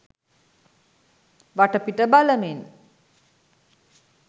වටපිට බලමින්